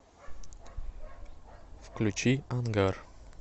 включи ангар